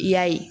I y'a ye